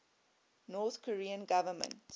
north korean government